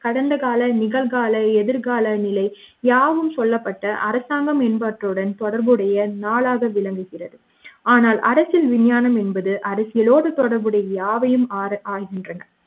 அரசியலும் கடந்தகால நிகழ்கால எதிர்கால நிலை யாவும் சொல்லப்பட்ட அரசாங்கம் என்பவற்றுடன் தொடர்புடைய நாளாக விளங்குகிறது ஆனால் அரசியல் விஞ்ஞானம் என்பது அரசியலோடு தொடர்புடைய யாவையும் ஆகின்றன